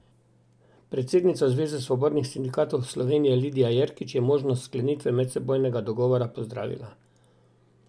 Predsednica Zveze svobodnih sindikatov Slovenije Lidija Jerkič je možnost sklenitve medsebojnega dogovora pozdravila.